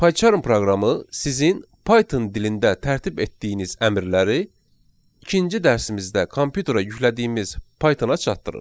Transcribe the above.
PyCharm proqramı sizin Python dilində tərtib etdiyiniz əmrləri ikinci dərsimizdə kompüterə yüklədiyimiz Python-a çatdırır.